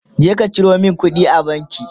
je ka Ciro min kuɗi a banki!